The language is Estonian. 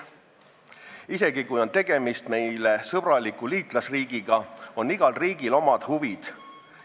Isegi kui on tegemist meile sõbraliku liitlasriigiga, on igal riigil omad huvid.